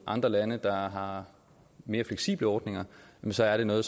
andre lande der har mere fleksible ordninger så er det noget